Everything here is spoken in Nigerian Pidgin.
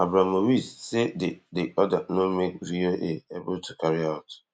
abromowitz say di di order no make VOA able tu carry out